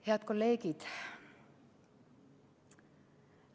Head kolleegid!